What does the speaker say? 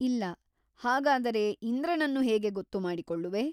ಇಲ್ಲ ಹಾಗಾದರೆ ಇಂದ್ರನನ್ನು ಹೇಗೆ ಗೊತ್ತುಮಾಡಿಕೊಳ್ಳುವೆ?